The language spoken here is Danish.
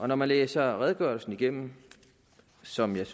når man læser redegørelsen igennem som jeg